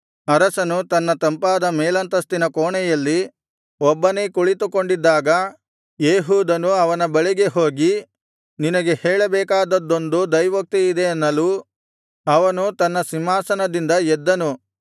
ಅರಸನು ತನ್ನ ತಂಪಾದ ಮೇಲಂತಸ್ತಿನ ಕೋಣೆಯಲ್ಲಿ ಒಬ್ಬನೇ ಕುಳಿತುಕೊಂಡಿದ್ದಾಗ ಏಹೂದನು ಅವನ ಬಳಿಗೆ ಹೋಗಿ ನಿನಗೆ ಹೇಳಬೇಕಾದದ್ದೊಂದು ದೈವೋಕ್ತಿಯಿದೆ ಅನ್ನಲು ಅವನು ತನ್ನ ಸಿಂಹಾಸನದಿಂದ ಎದ್ದನು